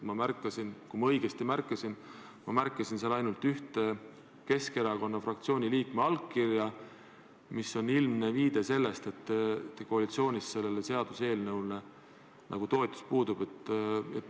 Ma märkasin seal – loodan, et ma ei eksi – ainult ühte Keskerakonna fraktsiooni liikme allkirja, mis on ilmne viide, et koalitsioonis sellele seaduseelnõule toetus puudub.